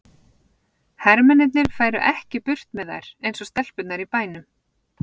Hermennirnir færu ekki burt með þær eins og stelpurnar í bænum.